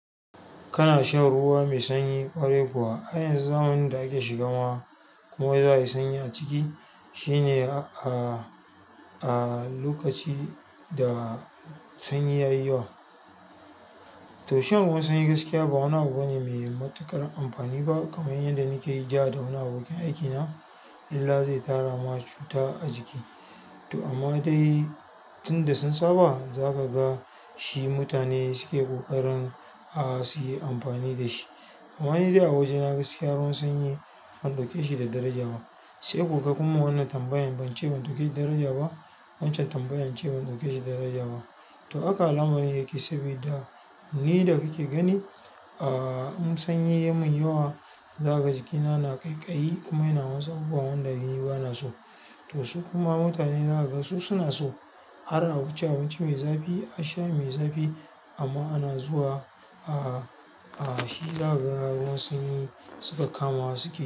Kana shan ruwa mai sanyi ƙwari kuwa, a yanzu zamanin da ake shigama kuma za a yi sanyi a ciki shine a, a lokaci da sanyi yayi yawa. To shan ruwan sanyi gaskiya ba wani wani mai matuƙar amfani ba kaman yanda nake yi ja da wani abokan aiki na, illa zai tara ma cuta a jiki. To amma dai tun da sun saba za ka ga shi mutane suke ƙoƙarin a, su yi amfani da shi. Amma ni dai a waje na gaskiya ruwan sanyi ban ɗauke shi da daraja ba. Sai kuka kuma a wannan tambayan, ban ce ban ɗauke shi da daraja ba. Wancan tambayan ce ban ɗauke shi daraja ba. To haka alamarin yake sabida ni da kake gani a, in sanyi yayi mun yawa, za ka ji jikina na ƙaiƙayi kuma ina wasu abubuwa wanda ni bana so. To su kuma mutane za ka ga su suna so har a wuce a abinci mai zafi, a sha mai zafi amma ana zuwa a, a shi zaka ga ruwan sanyi suka kama su ke.